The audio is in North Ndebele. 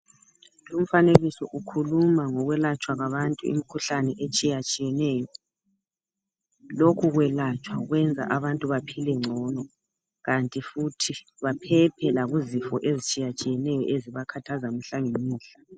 Umfanekiso ukhuluma ngokwelatshwa kwabantu imkhuhlane etshiyatshiyeneyo. Lokhu kwelatshwa kwenza abantu baphile ngcono kanti futhi baphephe lakuzifo ezitshiyatshiyeneyo ezibakhathaza mihlangemihla.